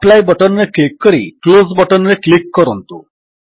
apply button ରେ click କରି close button ରେ କ୍ଲିକ୍ କରନ୍ତୁ